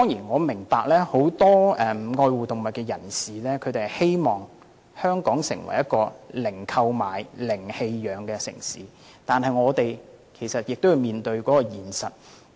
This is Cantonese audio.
我明白很多愛護動物人士希望香港成為一個零購買、零棄養的城市，但我們也要面對現實。